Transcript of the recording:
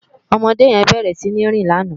Òmòdé yèn bèrè sini rín làná